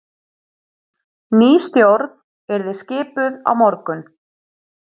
Ný stjórn yrði skipuð á morgun